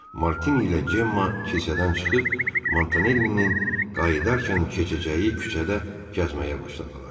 Martini ilə Cemma kilsədən çıxıb Montanellinin qayıdarkən keçəcəyi küçədə gəzməyə başladılar.